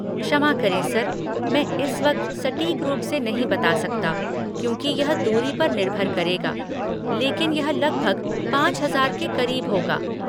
क्षमा करें सर, मैं इस वक्त सटीक रूप से नहीं बता सकता क्योंकि यह दूरी पर निर्भर करेगा, लेकिन यह लगभग पाँच हजार के करीब होगा।